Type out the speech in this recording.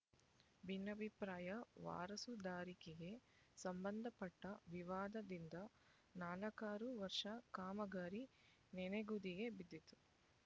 ಭಿನ್ನಾಭಿಪ್ರಾಯ ವಾರಸುದಾರಿಕೆಗೆ ಸಂಬಂಧಪಟ್ಟ ವಿವಾದದಿಂದ ನಾಲ್ಕಾರು ವರ್ಷ ಕಾಮಗಾರಿ ನೆನೆಗುದಿಗೆ ಬಿದ್ದಿತ್ತು